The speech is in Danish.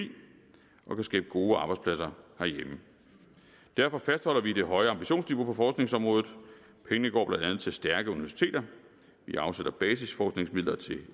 og kan skabe gode arbejdspladser herhjemme derfor fastholder vi det høje ambitionsniveau på forskningsområdet pengene går blandt andet til stærke universiteter vi afsætter basisforskningsmidler til